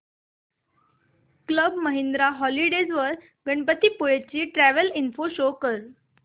club Mahindra holidays वर गणपतीपुळे ची travel info show कर